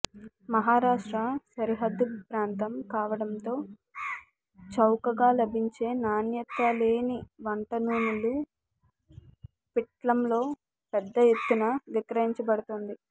మహారాష్ట్ర సరిహద్దు ప్రాంతం కావడంతో చౌకగా లభించే నాణ్యతలేని వంట నూనెలు పిట్లంలో పెద్ద ఎత్తున విక్రయించబడుతోంది